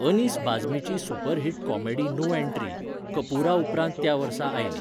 अनीस बाझमीची super hit comedy No Entry, कपूरा उपरांत त्या वर्सा आयली.